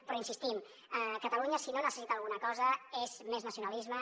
però hi insistim catalunya si no necessita alguna cosa és més nacionalisme